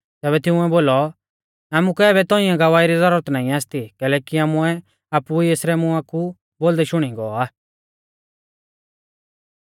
तैबै तिंउऐ बोलौ आमुकै आबै तौंइऐ गवाही री ज़ुरत नाईं आसती कैलैकि आमुऐ आपु ई एसरै मुआं कु बोलदै शुणी गौ आ